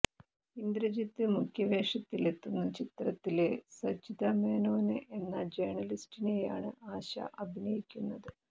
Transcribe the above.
ഇന്ദ്രജിത്ത് മുഖ്യവേഷത്തിലെത്തുന്ന ചിത്രത്തില് സജിത മേനോന് എന്ന ജേര്ണലിസ്റ്റിനെയാണ് ആശ അഭിനയിക്കുന്നത്